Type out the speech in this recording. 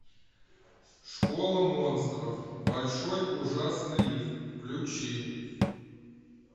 школа монстров большой ужасный риф включи